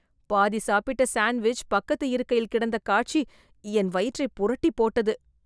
பாதி சாப்பிட்ட சாண்ட்விச் பக்கத்து இருக்கையில் கிடந்த காட்சி என் வயிற்றைப் புரட்டிப் போட்டது.